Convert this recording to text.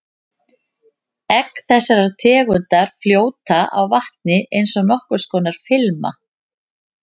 Egg þessarar tegundar fljóta á vatni eins og nokkurs konar filma.